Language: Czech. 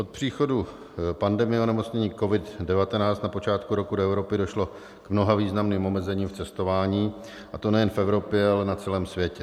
Od příchodu pandemie onemocnění COVID-19 na počátku roku do Evropy došlo k mnoha významným omezením v cestování, a to nejen v Evropě, ale na celém světě.